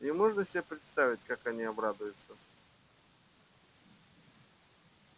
и можно себе представить как они обрадуются